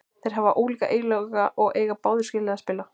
Þeir hafa ólíka eiginleika og eiga báðir skilið að spila.